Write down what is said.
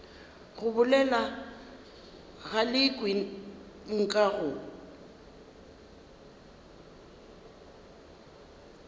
go bolela galekwe nka go